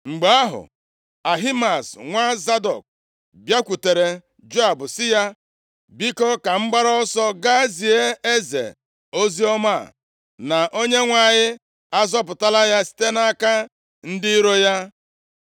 Mgbe ahụ, Ahimaaz, nwa Zadọk, + 18:19 \+xt 2Sa 15:36; 17:17\+xt* bịakwutere Joab sị ya, “Biko, ka m gbara ọsọ gaa zie eze oziọma a, na Onyenwe anyị azọpụtala ya site nʼaka ndị iro ya.”